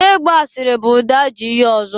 I gba asịrị bụ ụdị ajọ ihe ọzọ dị.